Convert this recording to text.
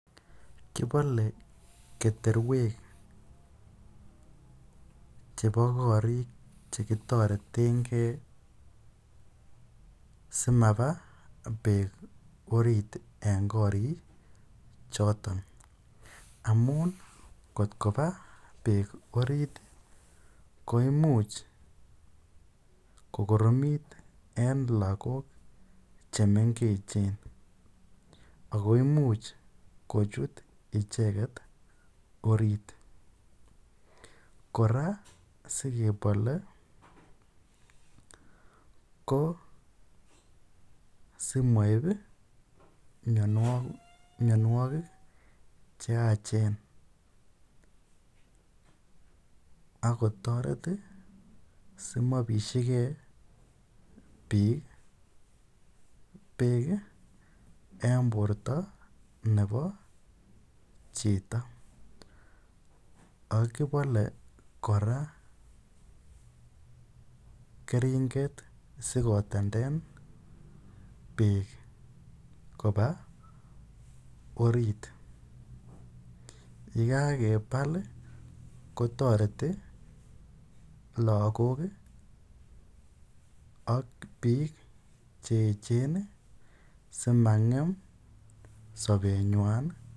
Kipale keterwek chepa kariik che kitareten gei simapa peek oriit en koriichoton amun ngot kopa peek oriit ko imuch kokoromit eng' lagok che mengechen. Ako imuch kochut icheget oriit. Kora asikepale ko simaip mianwagik che yaachen ak kotaret asimapishi gei peek eng' porta nepo chito. Ak kipale kora keringet asikotendet peek kopa oriit. Ye kakepal ko tareti lagok ak piik. che echen asimang'em sapenywan.